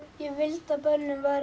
ég vildi að börnin væru